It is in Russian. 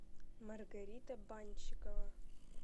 маргарита банщикова